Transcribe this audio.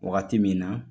Wagati min na